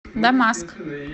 дамаск